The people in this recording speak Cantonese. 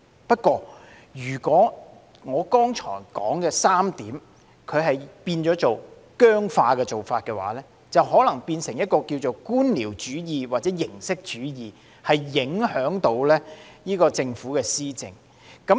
不過，如果我剛才所說的3點變得僵化，便可能會變成官僚主義或形式主義，影響政府施政。